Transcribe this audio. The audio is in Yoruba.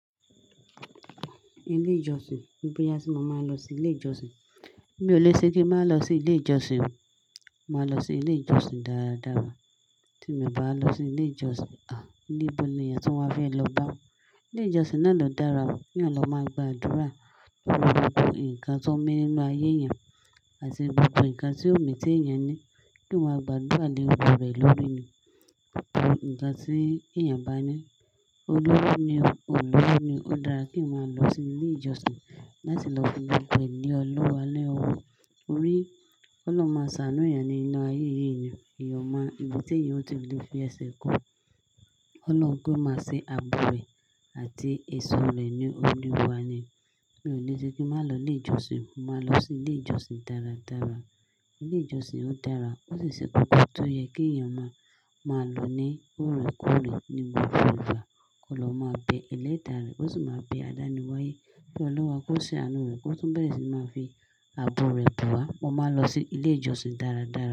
Ilé ìjọsìn, bóyá tí mo máa ń lọ sí ilé ìjọsìn. Mi ò lè ṣe kíń má lọ sí ilé ìjọsìn o. Máa lọ sí ilé ìjọsìn dáadáa. Tí mi ò bá lọ sí ilé ìjọsìn, a! Níbo ni èèyàn tí wọ́n fẹ́ lọ bá. Ilé ìjọsìn náà ló dára o. Kí èèyàn lo máa gba àdúrà lórí gbogbo nǹkan tó ń mí nínú ayé èèyàn àti gbogbo nǹkan tí ó mì tí èèyàn ní, kí wọ́n máa gba àdúrà léwu rẹ̀ lórí ni gbogbo nǹkan tí èèyàn bá ní. Olówó ni o, o olówó ni ó, ó dára kí èèyàn máa lọ sí ilé ìjọsìn láti lọ fi gbogbo lé ọlọ́run lọ́wọ́ torí, kí ọlọ́run máa ṣàánú èèyàn nínú ayé yìí ni o. Èyàn o máa, ibi tí èèyàn ò tí lè fi ẹsẹ̀ kó, Ọlọ́run kò máa ṣe ààbò rẹ̀ àti ìsó rẹ̀ ní, Olúwa ni. Mi ò lè ṣe kí n má lọ ilé ìjọsìn. Mo máa lọ sí ilé ìjọsìn dáradára. Ilé ìjọsìn ò dára. Ó sì ṣe kókó tó yẹ kí èèyàn máa, máa lọ ní òru-kóòrè. Níbo fún ìbá, kí wọ́n lọ má pẹ̀ ilé fà rẹ̀. Ó sì máa pẹ àdáni wáyé. Kí Olúwa kó ṣe àánú rẹ̀, kó túbọ̀ bẹ́rẹ̀ sì ni máa fi ààbò rẹ̀ bò wá. Mo máa lọ sí ilé ìjọsìn dáradára.